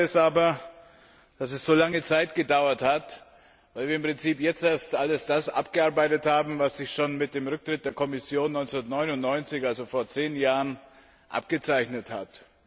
Ich bedaure es aber, dass es so lange Zeit gedauert hat, weil wir im Prinzip jetzt erst alles das abgearbeitet haben, was sich schon mit dem Rücktritt der Kommission 1999 also vor zehn Jahren abgezeichnet hatte.